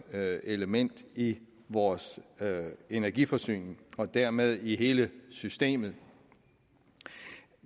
element i vores energiforsyning og dermed i hele systemet